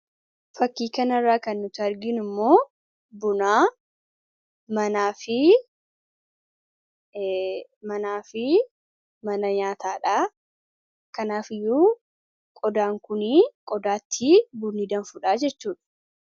fakkiikanirraa kan nuti argiinu immoo bunaa manaa fi mana nyaataadha kanaaf iyyuu qodaan kunii qodaatti bunii danfuudhaa jechuudha